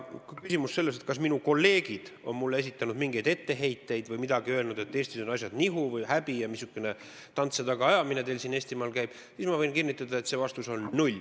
Kui on küsimus, kas minu kolleegid on mulle esitanud mingeid etteheiteid või öelnud, et Eestis on asjad nihu või et on häbi ja missugune tants ja tagaajamine teil seal Eestimaal käib, siis ma võin kinnitada, et vastus on null.